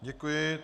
Děkuji.